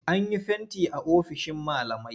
An yi fenti a ofishin malamai.